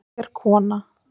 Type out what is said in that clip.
Ég er kona